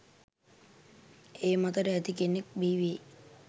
ඒ මතකට ඇති කෙනෙකු බිහිවේවි.